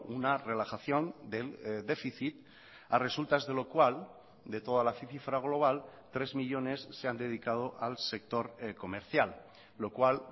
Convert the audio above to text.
una relajación del déficit a resultas de lo cual de toda la cifra global tres millónes se han dedicado al sector comercial lo cual